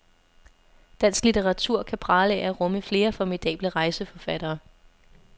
Dansk litteratur kan prale af at rumme flere formidable rejseforfattere.